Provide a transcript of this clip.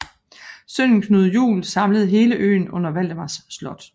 Sønnen Knud Juel samlede hele øen under Valdemars Slot